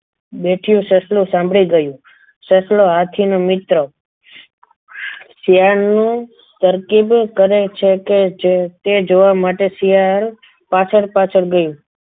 બેઠું સસલું સાંભળી ગયું સસલો હાથી નો મિત્ર શિયાળનું તરકીબ કરે છે કે જે તે જોવા માટે શિયાળ પાછળ પાછળ ગયું.